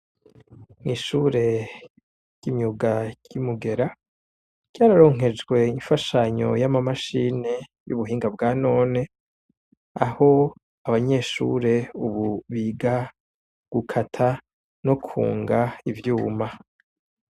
Mw'ishure ry'imyuga ry'imugera ryararonkejwe imfashanyo y'amamashine y'ubuhinga bwa none aho abanyeshure ububiga gukata no kunga ivyuma.